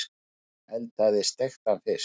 Hún eldaði steiktan fisk.